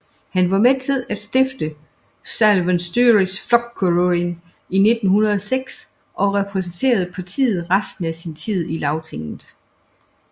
Han var med til at stifte Sjálvstýrisflokkurin i 1906 og repræsenterede partiet resten af sin tid i Lagtinget